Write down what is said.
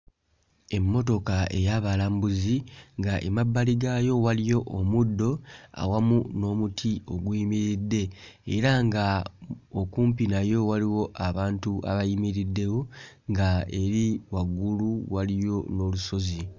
Emmotoka ey'abalambuzi nga emabbali gaayo waliyo omuddo awamu n'omuti oguyimiridde era nga okumpi nayo waliwo abantu abayimiriddewo nga eri waggulu waliyo n'olusozi.